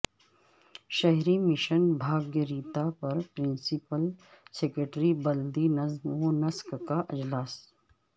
شہری مشن بھاگیرتا پر principal secretary بلدی نظم و نسق کا اجلاس